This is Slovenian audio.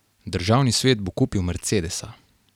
Državni svet bo kupil mercedesa.